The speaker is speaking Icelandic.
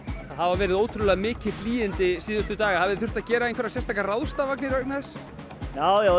hafa verið ótrúlega mikil hlýindi síðustu daga hafið þið þurft að gera einhverjar sérstakar ráðstafanir vegna þess já